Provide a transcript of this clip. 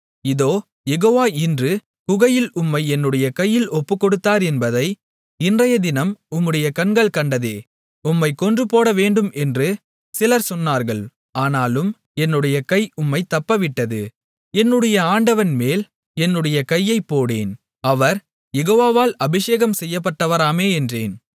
இதோ யெகோவா இன்று குகையில் உம்மை என்னுடைய கையில் ஒப்புக்கொடுத்தார் என்பதை இன்றையதினம் உம்முடைய கண்கள் கண்டதே உம்மைக் கொன்றுபோடவேண்டும் என்று சிலர் சொன்னார்கள் ஆனாலும் என்னுடைய கை உம்மைத் தப்பவிட்டது என்னுடைய ஆண்டவன்மேல் என்னுடைய கையைப் போடேன் அவர் யெகோவாவால் அபிஷேகம்செய்யப்பட்டவராமே என்றேன்